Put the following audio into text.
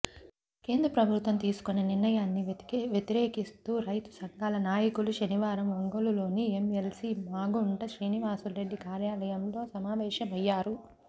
కేంద్ర ప్రభుత్వం తీసుకున్న నిర్ణయాన్ని వ్యతిరేకిస్తూ రైతు సంఘాల నాయకులు శనివారం ఒంగోలులోని ఎంఎల్సి మాగుంట శ్రీనివాసులరెడ్డి కార్యాలయంలో సమావేశమయ్యారు